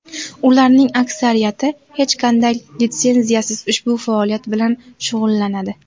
Ularning aksariyati hech qanday litsenziyasiz ushbu faoliyat bilan shug‘ullanadi.